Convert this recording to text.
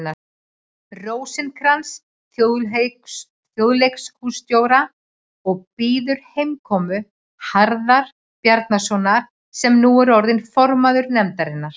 Rósinkranz þjóðleikhússtjóra og bíður heimkomu Harðar Bjarnasonar, sem nú er orðinn formaður nefndarinnar.